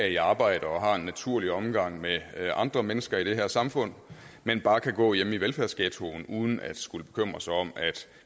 i arbejde og har en naturlig omgang med andre mennesker i det her samfund men bare kan gå hjemme i velfærdsghettoen uden at skulle bekymre sig om at